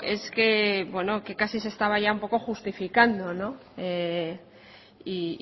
es que bueno que casi se estaba ya justificando y